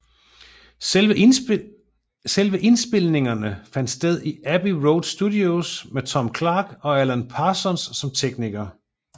Selve indspilningerne fandt sted i Abbey Road Studios med Tony Clark og Alan Parsons som teknikere